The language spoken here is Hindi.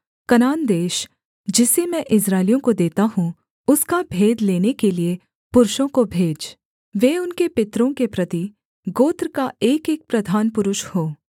कनान देश जिसे मैं इस्राएलियों को देता हूँ उसका भेद लेने के लिये पुरुषों को भेज वे उनके पितरों के प्रति गोत्र का एकएक प्रधान पुरुष हों